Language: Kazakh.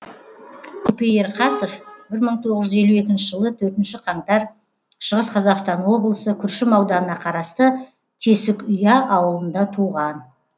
көпей ерқасов бір мың тоғыз жүз елу екінші жылы төртінші қаңтар шығыс қазақстан облысы күршім ауданына қарасты тесікұя ауылында туған